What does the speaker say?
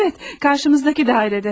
Əvət, qarşımızdakı dairede.